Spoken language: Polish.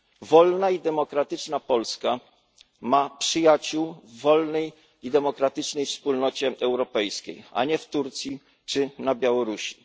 Wolna i demokratyczna Polska ma przyjaciół w wolnej i demokratycznej wspólnocie europejskiej, a nie w Turcji czy na Białorusi.